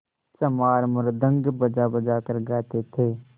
चमार मृदंग बजाबजा कर गाते थे